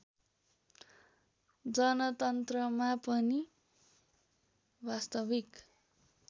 जनतन्त्रमा पनि वास्तविक